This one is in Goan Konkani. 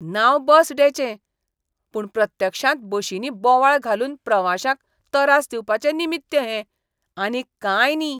नांव बस डेचें, पूण प्रत्यक्षांत बशींनी बोवाळ घालून प्रवाश्यांक तरास दिवपाचें निमित्य हें, आनीक कांय न्ही.